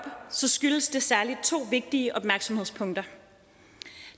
så skyldes det særlig to vigtige opmærksomhedspunkter